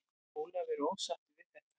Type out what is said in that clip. Ólafur er ósáttur við þetta.